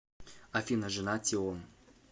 афина жена тион